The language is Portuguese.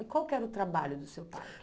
E qual que era o trabalho do seu pai?